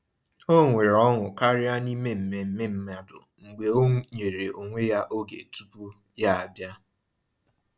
O nwere ọṅụ karịa n’ime mmemme mmadụ mgbe ọ nyere onwe ya oge tupu ya abịa.